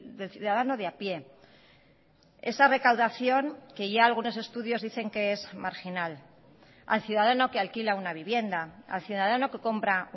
del ciudadano de a pie esa recaudación que ya algunos estudios dicen que es marginal al ciudadano que alquila una vivienda al ciudadano que compra